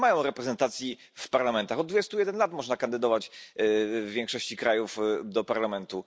Nie mają reprezentacji w parlamentach od dwudziestu jeden lat można kandydować w większości krajów do parlamentu.